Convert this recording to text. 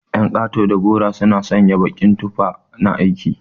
Ƴan kato da garo suna sanya baƙin tufa na aiki.